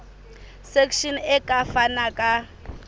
section e ka fana ka